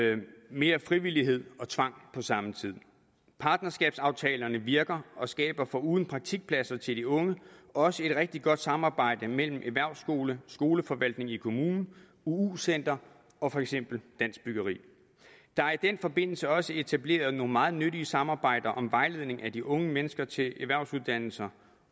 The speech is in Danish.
mere frivillighed og tvang på samme tid partnerskabsaftalerne virker og skaber foruden praktikpladser til de unge også et rigtig godt samarbejde mellem erhvervsskoler skoleforvaltninger i kommunerne uu centre og for eksempel dansk byggeri der er i den forbindelse også etableret nogle meget nyttige samarbejder om vejledning af de unge mennesker til erhvervsuddannelser